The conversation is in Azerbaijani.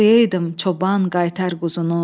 Oxuyaydım çoban qaytar quzunu.